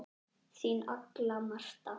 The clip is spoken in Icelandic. Þín Agla Marta.